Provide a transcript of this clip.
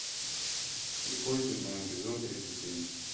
слепое пятно эпизод тридцать семь